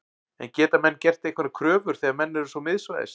En geta menn gert einhverjar kröfur þegar menn eru svo miðsvæðis?